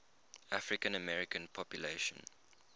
african american population